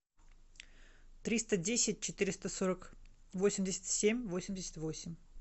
триста десять четыреста сорок восемьдесят семь восемьдесят восемь